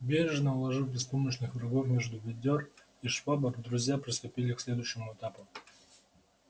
бережно уложив беспомощных врагов между ведёр и швабр друзья приступили к следующему этапу